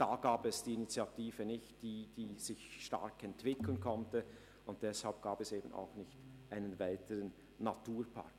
Da gab es die Initiative nicht, die sich stark hätte entwickeln können, und deshalb gibt es keinen weiteren Naturpark.